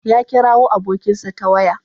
Ya kirawo abokinsa ta waya.